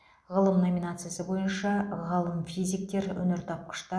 ғылым номинациясы бойынша ғалым физиктер